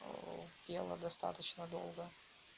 оо ела достаточно долго